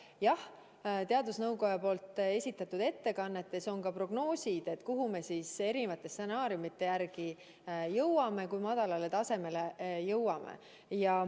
Jah, teadusnõukoja esitatud ettekannetes on prognoosid, kuhu me siis erinevate stsenaariumide järgi jõuame, kui madalale tasemele jõuame.